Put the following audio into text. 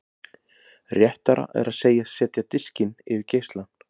Réttara er að segjast setja diskinn yfir geislann.